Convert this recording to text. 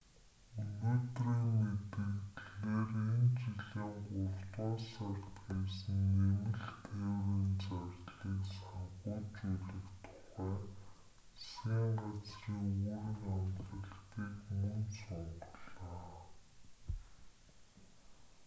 өнөөдрийн мэдэгдлээр энэ жилийн гуравдугаар сард хийсэн нэмэлт тээврийн зардлыг санхүүжүүлэх тухай засгийн газрын үүрэг амлалтыг мөн сунгалаа